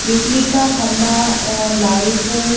बिजली का खंबा और लाइट है।